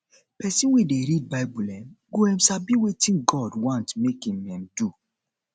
pesin wey dey read bible um go um sabi wetin god want mek um im do